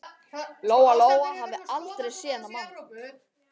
Lóa Lóa hafði aldrei séð þennan mann.